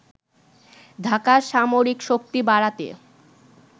ঢাকার সামরিক শক্তি বাড়াতে